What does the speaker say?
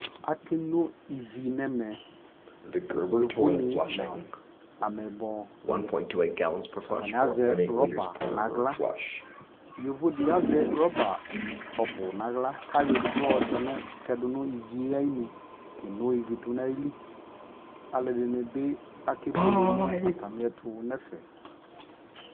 akɛ kɔ ivi nʋ ɛmɛ yɔvɔ ni nʋ amɛyibɔ, atani azɛ rubber nʋ ala, yɔvɔ di azɛ rubber ɔbʋ nʋ ala kʋ ayɔ ɛdigbɔ ɔtɛnʋ iviɛ ayinʋ kɛnɔ ivi dʋnʋ ayili, alʋɛdini bi akɛ bʋɛlɛ nʋ atami ɛtʋ nʋ ɛƒɛ